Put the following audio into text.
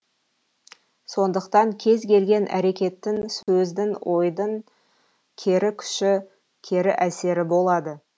сондықтан кез келген әрекеттің сөздің ойдың кері күші кері әсері болады